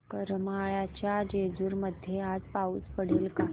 करमाळ्याच्या जेऊर मध्ये आज पाऊस पडेल का